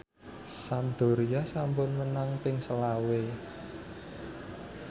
Sampdoria sampun menang ping selawe